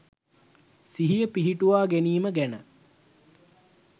සිහිය පිහිටුවාගැනීම ගැන